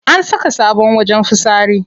An saka sabon wajen fitsari.